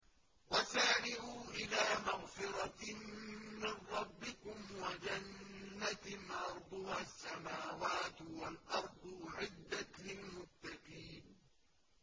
۞ وَسَارِعُوا إِلَىٰ مَغْفِرَةٍ مِّن رَّبِّكُمْ وَجَنَّةٍ عَرْضُهَا السَّمَاوَاتُ وَالْأَرْضُ أُعِدَّتْ لِلْمُتَّقِينَ